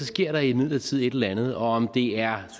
sker der imidlertid et eller andet om det er